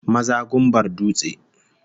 Maza gumbar dutse